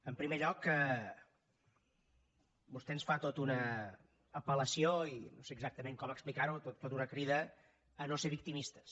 en primer lloc vostè ens fa tota una apel·lació i no sé exactament com explicarho tota una crida a no ser victimistes